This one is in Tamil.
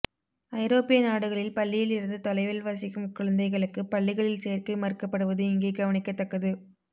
ஐரோப்பிய நாடுகளில் பள்ளியில் இருந்து தொலைவில் வசிக்கும் குழந்தைகளுக்குப் பள்ளிகளில் சேர்க்கை மறுக்கப்படுவது இங்கே கவனிக்கத்தக்கது